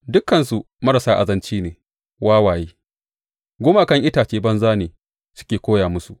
Dukansu marasa azanci ne wawaye; gumakan itacen banza ne suke koya musu.